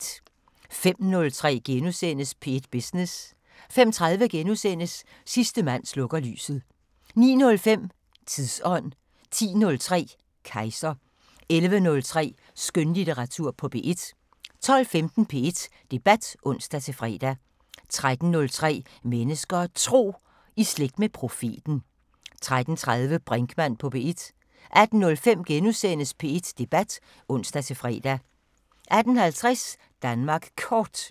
05:03: P1 Business * 05:30: Sidste mand slukker lyset * 09:05: Tidsånd 10:03: Kejser 11:03: Skønlitteratur på P1 12:15: P1 Debat (ons-fre) 13:03: Mennesker og Tro: I slægt med profeten 13:30: Brinkmann på P1 18:05: P1 Debat *(ons-fre) 18:50: Danmark Kort